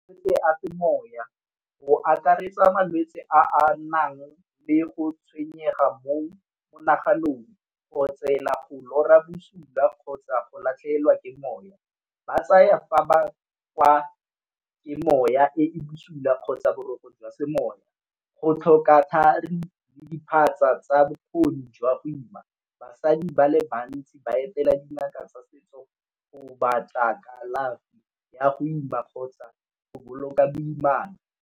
moya go akaretsa malwetsi a a nang le go tshwenyega mo monaganong, go otsela, go lora busula, kgotsa go latlhegelwa ke moya. Ba tsaya fa ba ke moya e e busula kgotsa boroko jwa semoya, go tlhoka thari le diphatsa tsa bokgoni jwa go ima. Basadi ba le bantsi ba etela dingaka tsa setso go batla kalafi ya go ima kgotsa go boloka boimana.